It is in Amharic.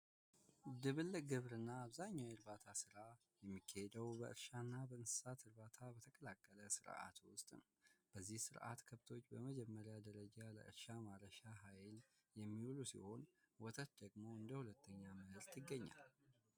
ድብልቅ በግብርና አብዛኛው የሚካሄደው በእንስሳት እርባታ በተቀላቀለ ስርዓት ውስጥ ነው በዚህ ስርአት ከብቶች በመጀመሪያ ደረጃ ለመረጃ ኃይል የሚሆኑ ሲሆን ወተት ደግሞ እንደሁለተኛ ምርት ይገኛል።